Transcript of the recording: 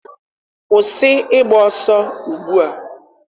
Kwụsị ịgba ọsọ ugbu a!